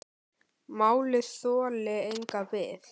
Málið þoli enga bið